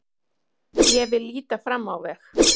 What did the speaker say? Ég vil líta fram á veg.